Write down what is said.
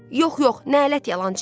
Yox, yox, nələt yalançıya.